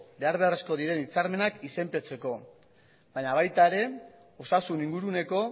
behar beharrezkoak diren hitzarmenak izenpetzeko baina baita osasun inguruneko